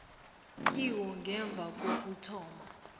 kiwo ngemva kokuthoma